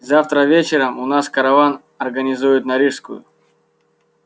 завтра вечером у нас караван организуют на рижскую